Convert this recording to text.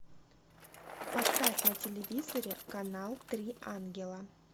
поставь на телевизоре канал три ангела